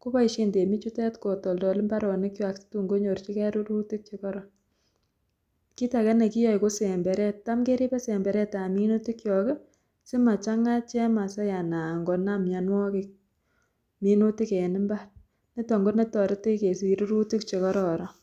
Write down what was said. koboishen temichutet kotoldol imbaronikwak situn konyorchike rurutik chekoron, kiit akee nekiyoe ko semberet, taam keribe semberetab minutikiok simachang'a chemasai anan konam mionwokik minutik en imbar niton konetoretech kesich rurutik chekororon.